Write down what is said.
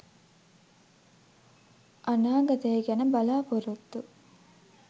අනාගතය ගැන බලා‍පොරොත්තු